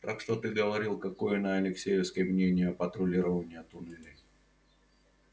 так что ты говорил какое на алексеевской мнение о патрулировании туннелей